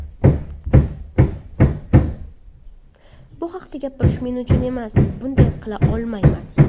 Bu haqda gapirish men uchun emas ... Bunday qila olmayman.